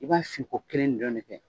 I b'a sigi ko kelen fɛ